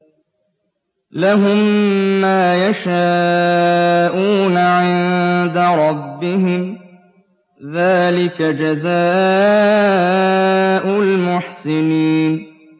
لَهُم مَّا يَشَاءُونَ عِندَ رَبِّهِمْ ۚ ذَٰلِكَ جَزَاءُ الْمُحْسِنِينَ